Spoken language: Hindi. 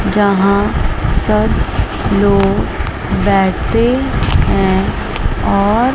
जहां सब लोग बैठे हैं और --